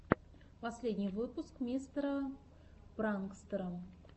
последний выпуск мистера пранкстэра